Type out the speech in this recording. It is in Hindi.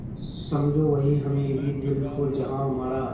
समझो वहीं हमें भी दिल हो जहाँ हमारा